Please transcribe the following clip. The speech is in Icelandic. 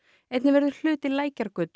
einnig verður hluti Lækjargötu